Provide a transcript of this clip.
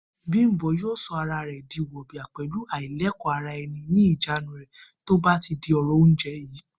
Bímpé yóò so̩ ara rè̩ di wò̩bìà pè̩lú àìlèkó-ara-e̩ni ní ìjánu rè̩ tó bá ti di ò̩rò̩ oúnje̩ yìí